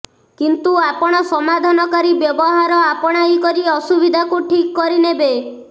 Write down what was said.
କିନ୍ତୁ ଆପଣ ସମାଧାନକାରୀ ବ୍ୟବହାର ଆପଣାଇକରି ଅସୁବିଧାକୁ ଠିକ କରିନେବେ